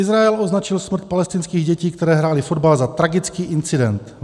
Izrael označil smrt palestinských dětí, které hrály fotbal, za tragický incident.